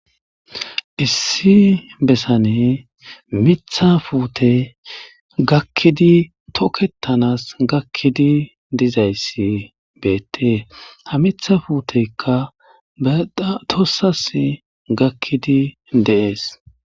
Issi besani Mitha puteyi gakidi toketanasi gakidi betesi ha Mitha puutetika baxa tosasi gakidi de'es.